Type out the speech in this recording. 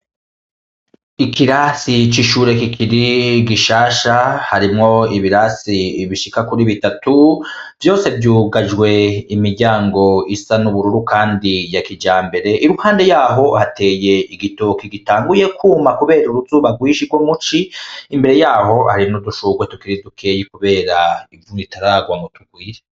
I kirasi cishure kikiri igishasha harimwo ibirasi bishika kuri bitatu vyose vyugajwe imiryango isa n'ubururu, kandi ya kija mbere iruhande yaho hateye igitoki gitanguye kwuma, kubera uruzuba rwishirwo muci imbere yaho hari n'udushurwe tukir dukeyi, kubera ivunu ritaragwa mgo tugwire.